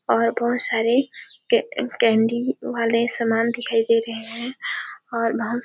और बहुत सारे कैंडी वाले सामान दिखाई दे रहे है और--